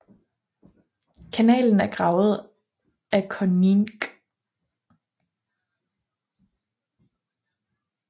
Kanalen er gravet af de Coninck